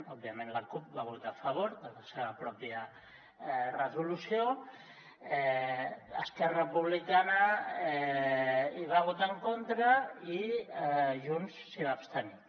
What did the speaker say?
òbviament la cup va votar a favor de la seva pròpia resolució esquerra republicana hi va votar en contra i junts s’hi va abstenir